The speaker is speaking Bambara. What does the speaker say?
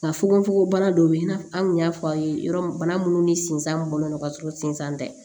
Nka fogofogobana dɔ bɛ yen i n'a fɔ an kun y'a fɔ a ye yɔrɔ min ni sinsan mun bɔlen don ka sɔrɔ sinsan tɛ